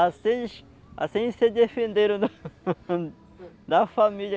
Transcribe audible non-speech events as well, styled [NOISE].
Assim eles se assim eles defenderam da [LAUGHS] da família